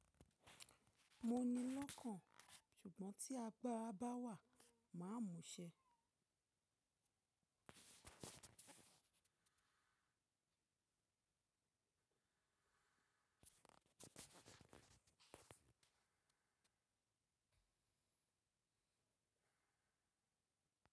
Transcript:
Mo ni lọ́kàn, ṣùgbọ́n tí agbára bá wà, màá múṣẹ.